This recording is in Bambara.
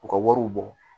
U ka wariw bɔ